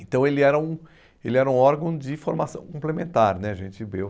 Então ele era um ele era um órgão de formação complementar né, a gente viu.